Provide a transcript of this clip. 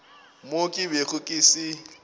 mo ke bego ke se